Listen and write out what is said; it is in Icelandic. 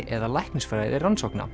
eða